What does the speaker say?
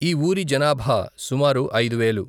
ఈ ఊరి జనాభా సుమారు ఐదు వేలు.